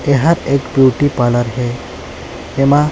एहा एक beauty parlour हे एमा--